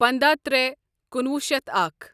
پندہ ترے کنُۄہُ شیتھ اکھَ